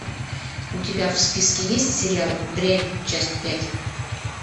у тебя в списке есть сериал дрянь часть пять